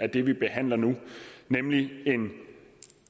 er det vi behandler nu nemlig en